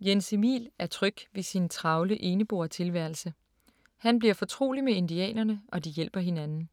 Jens Emil er tryg ved sin travle eneboertilværelse. Han bliver fortrolig med indianerne, og de hjælper hinanden.